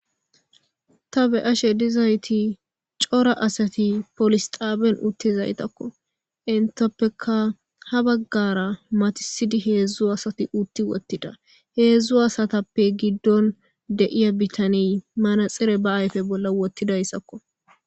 ta be ashe dizayti cora asati polis xaaben uttizaytakko intappeka ha baggara matisidi heedzdzu asati utti wottida heedzdzu asatappe giddon deiya bitaniy manaxere ba ayfe bolla wottidayssakko